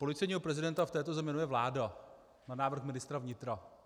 Policejního prezidenta v této zemi jmenuje vláda na návrh ministra vnitra.